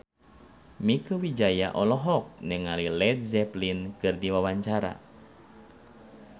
Mieke Wijaya olohok ningali Led Zeppelin keur diwawancara